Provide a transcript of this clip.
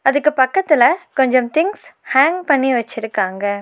இதுக்கு பக்கத்துல கொஞ்சம் திங்ஸ் ஹேங் பண்ணி வச்சிருக்காங்க.